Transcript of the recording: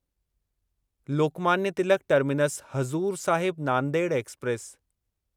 Lokmanya Tilak terminus Hazur Sahib Nanded express